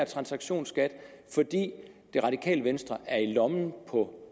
transaktionsskat fordi det radikale venstre er i lommen på